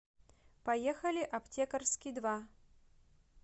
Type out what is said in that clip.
поехали аптекарский два